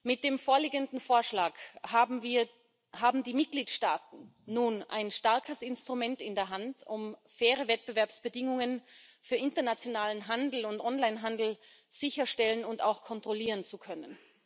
Mit dem vorliegenden Vorschlag haben wir, haben die Mitgliedstaaten nun ein starkes Instrument in der Hand, um faire Wettbewerbsbedingungen für internationalen Handel und Online Handel sicherstellen und auch kontrollieren zu können.